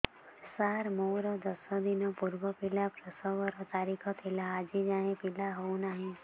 ସାର ମୋର ଦଶ ଦିନ ପୂର୍ବ ପିଲା ପ୍ରସଵ ର ତାରିଖ ଥିଲା ଆଜି ଯାଇଁ ପିଲା ହଉ ନାହିଁ